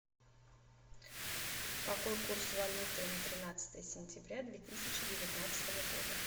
какой курс валюты на тринадцатое сентября две тысячи девятнадцатого года